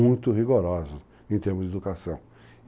Muito rigoroso em termos de educação.